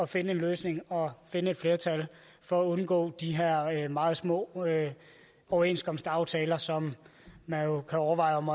finde en løsning og finde et flertal for at undgå de her meget små overenskomstaftaler som man jo kan overveje om